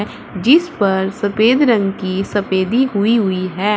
जिस पर सफेद रंग की सफेदी हुई हुई है।